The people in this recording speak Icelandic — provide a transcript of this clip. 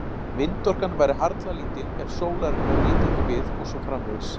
Vindorkan væri harla lítil ef sólarinnar nyti ekki við og svo framvegis.